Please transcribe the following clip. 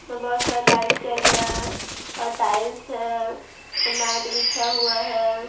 और बहुत सारा लाइट चल रहा है और टाइल्स हैं मैट बिछा हुआ है।